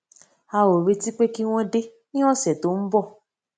a ò retí pé kí wón dé ní òsè tó ń bò